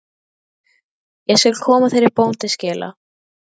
Ég skal koma þeirri bón til skila.